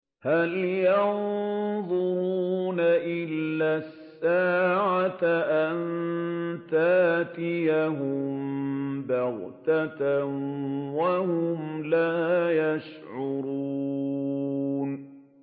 هَلْ يَنظُرُونَ إِلَّا السَّاعَةَ أَن تَأْتِيَهُم بَغْتَةً وَهُمْ لَا يَشْعُرُونَ